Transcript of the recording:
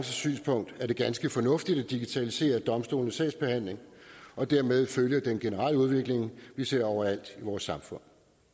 synspunkt er det ganske fornuftigt at digitalisere domstolenes sagsbehandling og dermed følge den generelle udvikling vi ser overalt i vores samfund